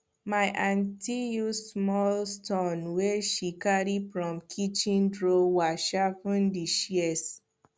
my aunti use small stone wey she carry from kitchen drawer sharpen di shears